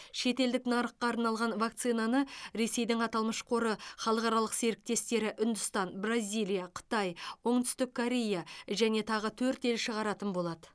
шетелдік нарыққа арналған вакцинаны ресейдің аталмыш қоры халықаралық серіктестері үндістан бразилия қытай оңтүстік корея және тағы төрт ел шығаратын болады